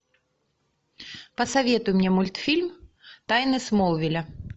посоветуй мне мультфильм тайны смолвиля